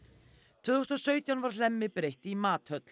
tvö þúsund og sautján var Hlemmi breytt í